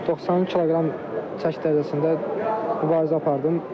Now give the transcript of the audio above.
91 kq çəki dərəcəsində mübarizə apardım.